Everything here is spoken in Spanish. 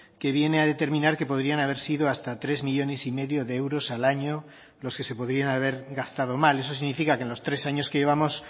que viene a determinar que podrían haber sido hasta tres millónes y medio de euros al año los que se podrían haber gastado mal eso significa que en los tres años que llevamos